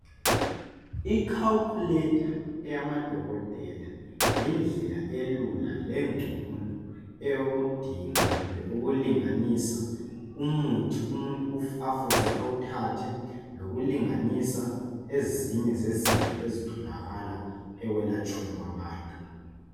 I calculater eyamadokotela yindlela elula lengcono eyokudinga kumbe ukulinganisa umuthi umuntu afuze awuthathe ngokulinganisa ezinye yezinto ezitholakala ekwelatsheni kwabantu.